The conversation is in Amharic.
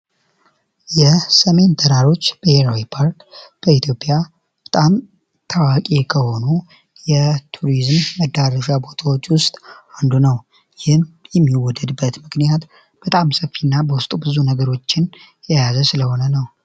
ሰሜን ተራሮች ብሔራዊ ፓርክ በኢትዮጵያ በጣም ታዋቂ ከሆኑ የቱሪዝም ቦታዎች ውስጥ ምክንያት በጣም ሰፊና ብዙ ነገሮችን የያዘ ስለሆነ ነው